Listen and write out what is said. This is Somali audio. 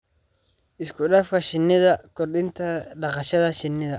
Isku-dhafka Shinnida Kordhinta dhaqashada shinnida.